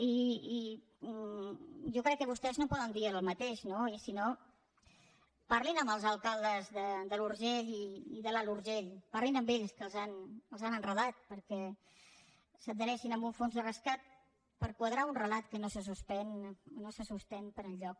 i jo crec que vostès no poden dir el mateix no i si no parlin amb els alcaldes de l’urgell i de l’alt urgell parlin amb ells que els han enredat perquè s’adhereixin a un fons de rescat per quadrar un relat que no se sosté per enlloc